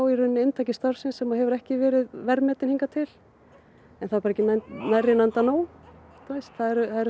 í rauninni inntöku starfsins sem hefur ekki verið verðmetin hingað til það er bara ekki nóg það eru